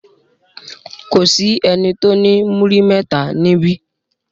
Kò sí ẹni tó ní múrí mẹ́ta níbí.